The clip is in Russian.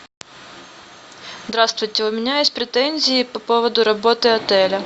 здравствуйте у меня есть претензии по поводу работы отеля